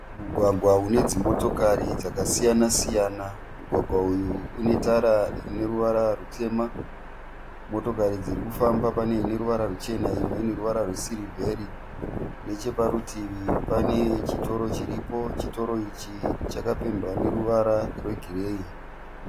Mugwagwa une dzimotokari dzakasiyana- siyana. Mugwagwa uyu une tara ine ruvara rutema. Motokari dziri kufamba pane ine ruvara ruchena imwe ine ruvara rwesirivheri. Necheparutivi pane chitoro chiripo. Chitoro ichi chakapendwa neruvara rwegireyi.